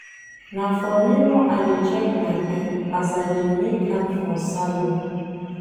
Na for mirror I dey check my hair as I dey make am for salon.